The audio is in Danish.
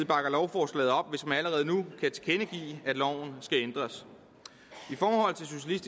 bakker lovforslaget op hvis man allerede nu kan tilkendegive at loven skal ændres